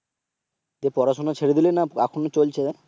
তো পড়াশোনা ছেড়ে দিলি না এখনো চলছে?